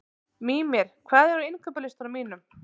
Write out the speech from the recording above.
Mímir, hvað er á innkaupalistanum mínum?